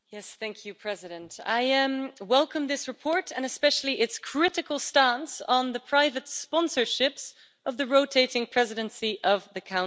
Mr President, I welcome this report and especially its critical stance on the private sponsorships of the rotating Presidency of the Council.